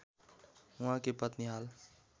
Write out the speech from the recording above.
उहाँकी पत्नी हाल